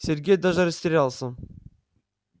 сергей даже растерялся